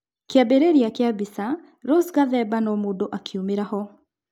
Kĩambĩrĩria kĩa mbica, Rosa Gathemba no-mũndũ akiumira-ho.